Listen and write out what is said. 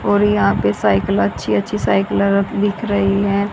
और यहां पे साइकिल अच्छी अच्छी साइकिल दिख रही है।